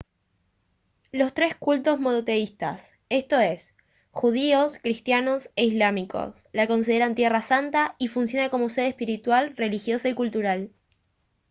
los tres cultos monoteístas esto es judíos cristianos e islámicos la consideran tierra santa y funciona como sede espiritual religiosa y cultural